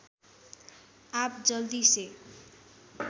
आप जल्दी से